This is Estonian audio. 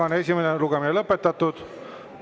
Esimene lugemine on lõpetatud.